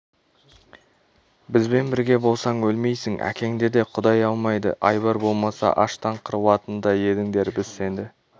бізбен бірге болсаң өлмейсің әкеңді де құдай алмайды айбар болмаса аштан қырылатын ба едіңдер біз сені